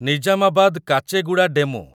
Nizamabad Kacheguda DEMU